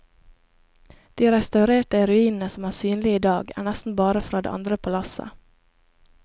De restaurerte ruinene som er synlige i dag, er nesten bare fra det andre palasset.